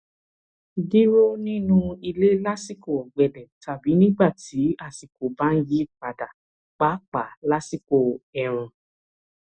dúró nínú ilé lásìkò ọgbẹlẹ tàbí nígbà tí àsìkò bá ń yí padà pàápàá lásìkò ẹẹrùn